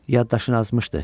Yaddaşın azmışdı.